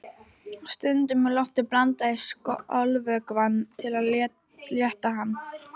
Stundum er lofti blandað í skolvökvann til að létta hann.